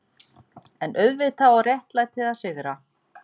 EN auðvitað á réttlætið að sigra.